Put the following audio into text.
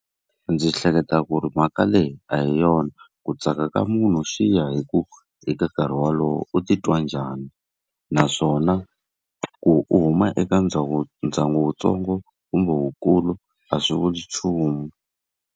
Ndzi hleketa ku ri mhaka leyi a hi yona. Ku tsaka ka munhu xi ya hi ku eka nkarhi wolowo u titwa njhani, naswona ku u huma eka ndyangu wutsongo kumbe wukulu a swi vuli nchumu.